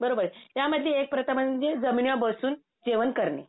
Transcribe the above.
बरोबर या मध्ये एक प्रथा म्हणजे जमिनीवर बसून जेवण करणे.